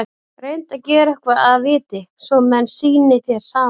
Reyndu að gera eitthvað að viti, svo menn sýni þér samúð.